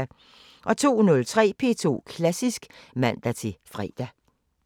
02:03: P2 Klassisk (man-fre)